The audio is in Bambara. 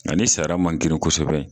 Nga ni sara man girin kosɛbɛ